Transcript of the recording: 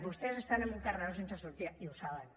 vostès estan en un carreró sense sortida i ho saben